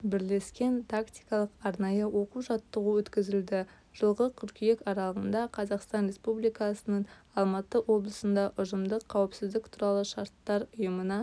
бірлескен тактикалық-арнайы оқу-жаттығу өткізілді жылғы қыркүйек аралығында қазақстан республикасының алматы облысында ұжымдық қауіпсіздік туралы шарттар ұйымына